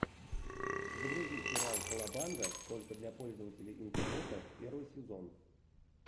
загрузи сериал колобанга только для пользователей интернета первый сезон